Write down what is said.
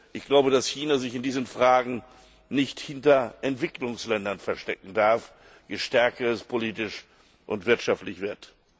Ich glaube, dass China sich in diesen Fragen nicht hinter Entwicklungsländern verstecken darf, je stärker es politisch und wirtschaftlich wird.